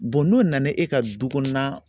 n'o nana e ka du kɔnɔna